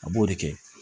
A b'o de kɛ